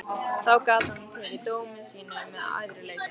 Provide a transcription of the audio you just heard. Þá gat hann tekið dómi sínum með æðruleysi.